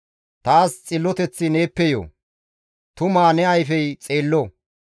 Taas xilloteththi neeppe yo; tumaa ne ayfey xeello.